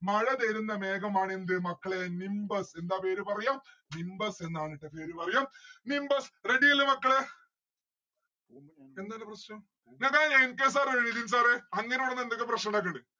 മഴ വരുന്ന മേഘമാണ് എന്ത് മക്കളെ nimbus എന്താ പേര് പറയാ nimbus എന്നാണ് ട്ടാ പേര് പറയാം. nimbus. ready അല്ലെ മക്കളെ? എന്താണ് പ്രശ്നം sir രെ അങ്ങനെ പറഞ് എന്തൊക്കെ പ്രശ്നമുണ്ടായിട്ടിണ്ട്